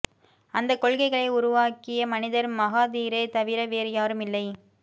அந்தக் கொள்கைகளை உருவாக்கிய மனிதர் மகாதீரே தவிர வேறு யாரும் இல்லை